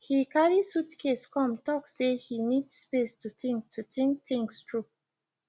he carry suitcase come talk say he need space to think to think things through